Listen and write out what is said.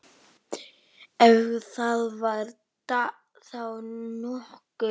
Ef það var þá nokkuð.